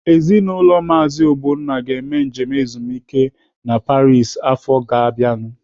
Ezinaụlọ Maazi Ogbonna ga-eme njem ezumike a Paris afọ ọzọ ga-abịanu.